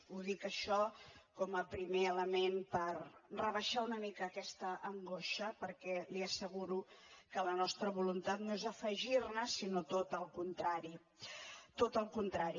ho dic això com a primer element per rebaixar una mica aquesta angoixa perquè li asseguro que la nostra voluntat no és afegir ne sinó tot al contrari tot al contrari